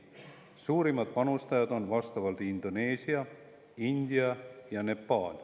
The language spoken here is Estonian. Suurimad panustajad on Indoneesia, India ja Nepal.